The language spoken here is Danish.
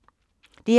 DR1